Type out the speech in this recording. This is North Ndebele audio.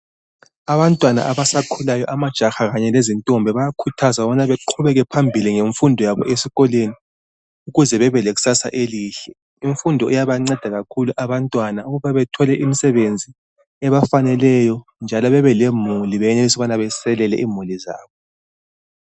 Abantwana abasakhulayo, amajaha kanye lezintombi bayakhuthazwa ukubana baqhubekele phambili ngemfundo yabo esikolweni ukuze babe lekusasa elihle. Imfundo iyabanceda kakhulu abantwana ukuba bethole imisebenzi ebafaneleyo njalo bebelemuli benelise ukuba beselele imuli zabo.